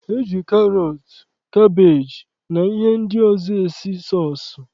E ji karọt, kabeeji na ihe ndị ọzọ esi sọọsụ